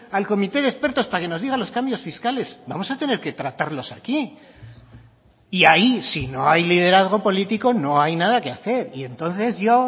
al comité de expertos para que nos digan los cambios fiscales vamos a tener que tratarlos aquí y ahí si no hay liderazgo político no hay nada que hacer y entonces yo